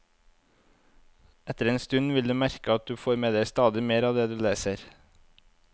Etter en stund vil du merke at du får med deg stadig mer av det du leser.